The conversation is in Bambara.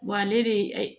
ale de